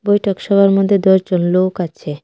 বৈঠক সভার মধ্যে দশ জন লোক আছে.